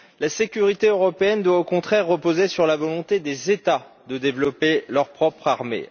La sécurité européenne doit, au contraire, reposer sur la volonté des États de développer leur propre armée.